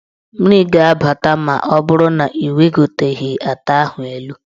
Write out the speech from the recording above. Mmiri ga-abata ma ọ bụrụ na ị wegoteghi ata ahụ elu.